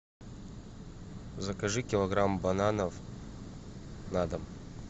закажи килограмм бананов на дом